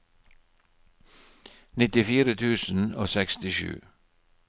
nittifire tusen og sekstisju